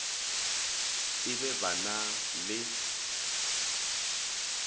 et e ba na le